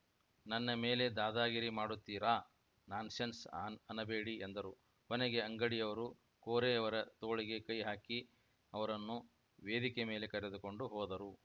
ನನ್ನ ಮೇಲೆ ದಾದಾಗಿರಿ ಮಾಡುತ್ತೀರಾ ನಾನ್‌ಸೆನ್ಸ್‌ ಅನಬೇಡಿ ಎಂದರು ಕೊನೆಗೆ ಅಂಗಡಿಯವರು ಕೋರೆಯವರ ತೋಳಿಗೆ ಕೈಹಾಕಿ ಅವರನ್ನು ವೇದಿಕೆ ಮೇಲೆ ಕರೆದುಕೊಂಡು ಹೋದರು